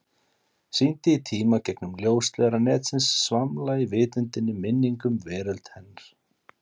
Syndi í tíma, gegnum ljósleiðara netsins, svamla í vitundinni, minningum, veröld hennar.